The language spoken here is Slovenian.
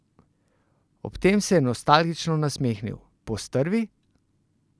Ob tem se je nostalgično nasmehnil: "Postrvi...